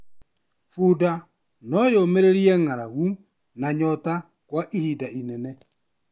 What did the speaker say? Bunda no yũmĩrĩrie ng'aragu na nyota kwa ihinda inene.